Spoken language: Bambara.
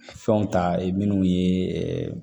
Fɛnw ta ye minnu ye